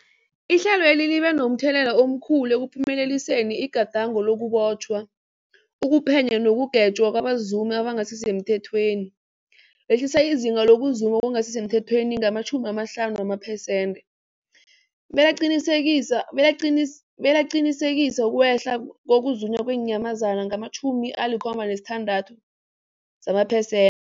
Ihlelweli libe momthelela omkhulu ekuphumeleliseni igadango lokubotjhwa, ukuphenywa nekugwetjweni kwabazumi abangasisemthethweni, lehlisa izinga lokuzuma okungasi semthethweni ngama-50 amapersenthe, belaqinisekisa ukwehla kokuzunywa kweenyamazana ngama-76 amapersent